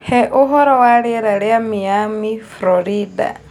He ũhoro wa rĩera rĩa Miami, Florida